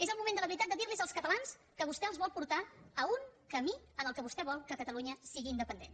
és el moment de la veritat de dir als catalans que vostè els vol portar a un camí en què vostè vol que catalunya sigui independent